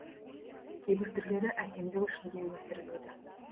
кейбір түрлері әсемдік үшін де өсіріледі